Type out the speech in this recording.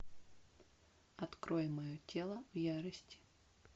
открой мое тело в ярости